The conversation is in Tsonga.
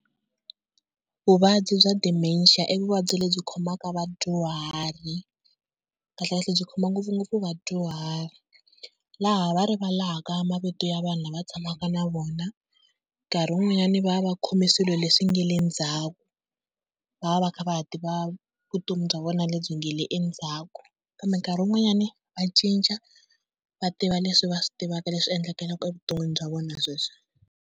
Vuvabyi bya dementia i vuvabyi lebyi khomaka vadyuhari, kahlekahle byi khoma ngopfungopfu vadyuhari. Laha va rivalaka mavito ya vanhu lava tshamaka na vona nkarhi wun'wanyana va va va khome swilo leswi nga le ndzhaku, va va va kha va ha tiva vutomi bya vona lebyi nga le endzhaku. Kambe nkarhi wun'wanyana va cinca va tiva leswi va swi tivaka leswi endlekelaka evuton'wini bya vona sweswi.